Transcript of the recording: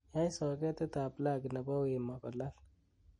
yai soketit ab plagi nebo wemo kolal